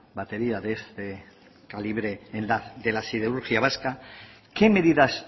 batería de este calibre de la siderurgia vasca qué medidas